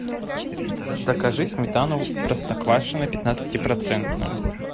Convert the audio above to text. закажи сметану простоквашино пятнадцати процентную